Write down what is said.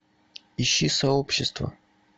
ищи сообщество